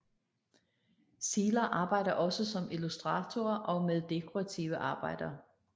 Zieler arbejder også som illustratorer og med dekorative arbejder